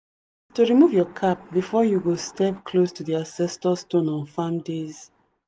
to remove your cap before you go step close to the ancestor stone on farm days.